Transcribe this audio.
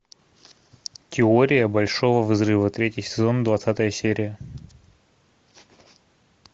теория большого взрыва третий сезон двадцатая серия